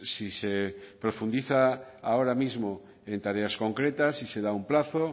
si se profundiza ahora mismo en tareas concretas si se da un plazo